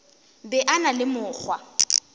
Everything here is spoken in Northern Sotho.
be a na le mokgwa